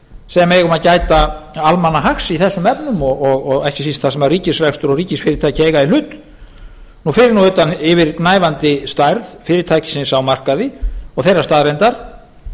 sem eigum að gæta almannahags í þessum efnum og ekki síst þar sem ríkisrekstur og ríkisfyrirtæki eiga í hlut fyrir utan yfirgnæfandi stærð fyrirtækisins á markaði og þeirrar staðreyndar